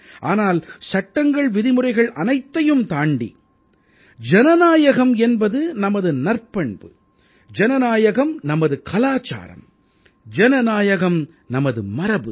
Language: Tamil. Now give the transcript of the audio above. ஆனால் சட்டங்கள் விதிமுறைகள் அனைத்தையும் தாண்டி ஜனநாயகம் என்பது நமது நற்பண்பு ஜனநாயகம் நமது கலாச்சாரம் ஜனநாயகம் நமது மரபு